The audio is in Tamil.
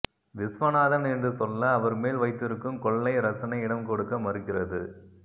விஸ்வநாதன் என்று சொல்ல அவர் மேல் வைத்திருக்கும் கொள்ளை ரசனை இடம் கொடுக்க மறுக்கிறது